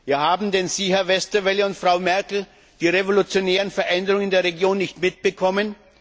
Ja, haben Sie, Herr Westerwelle und Frau Merkel, denn die revolutionären Veränderungen in der Region nicht mitbekommen?